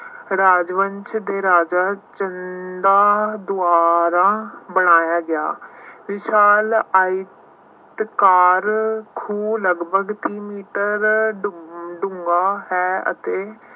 ਰਾਜਵੰਸ਼ ਦੇ ਰਾਜਾ ਚੰਦਾ ਦੁਆਰਾ ਬਣਾਇਆ ਗਿਆ। ਵਿਸ਼ਾਲ ਆਇਤਕਾਰ ਖੂਹ ਲਗਭਗ ਤੀਹ ਮੀਟਰ ਡੂੰਘਾ ਹੈ ਅਤੇ